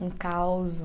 Um causo